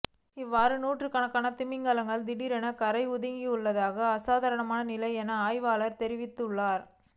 இவ்வாறு நூற்றுக்கணக்கான திமிங்கிலங்கள் திடீரென கரையொதுங்கியுள்ளமை அசாதாரணமான நிலை என ஆய்வாளர்கள் தெரிவித்துள்ளனர்